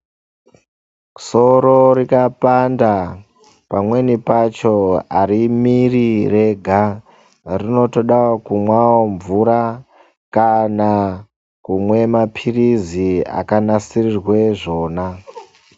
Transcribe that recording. Soro rikapanda, pamweni pacho arimiri rega, rinotodawo kumwawo mvura, kana kumwa maphirizi akanasirirwe zvona.